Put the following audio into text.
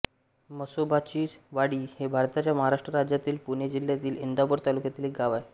म्हसोबाचीवाडी हे भारताच्या महाराष्ट्र राज्यातील पुणे जिल्ह्यातील इंदापूर तालुक्यातील एक गाव आहे